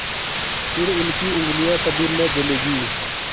फिर उनकी उँगलियाँ कभी न जलेंगी